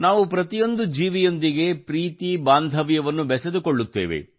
ನಾವು ಪ್ರತಿಯೊಂದು ಜೀವಿಯೊಂದಿಗೆ ಪ್ರೀತಿ ಬಾಂಧವ್ಯವನ್ನು ಬೆಸೆದುಕೊಳ್ಳುತ್ತೇವೆ